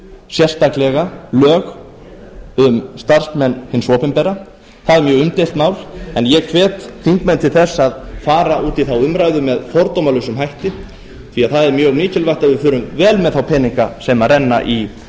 sérstaklega lög um starfsmenn hins opinbera það er mjög umdeilt mál en ég hvet þingmenn til þess að fara út í þá umræðu með fordómalausum hætti því það er mjög mikilvægt að við förum vel með þá peninga sem renna